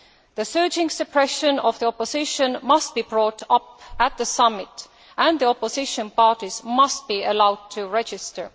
The surging suppression of the opposition must be brought up at the summit and the opposition parties must be allowed to register.